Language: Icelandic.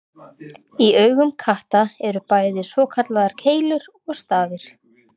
Í augum katta eru bæði svokallaðar keilur og stafir.